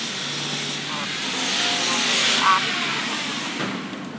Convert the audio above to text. আহ প্রথমত হচ্ছে যে আমি কি কি প্রশ্ন করতে পারি?